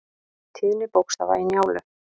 Tíðni bókstafa í Njálu.